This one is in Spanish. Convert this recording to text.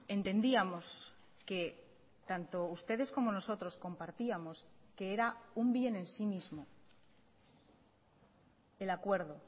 entendíamos que tanto ustedes como nosotros compartíamos que era un bien en sí mismo el acuerdo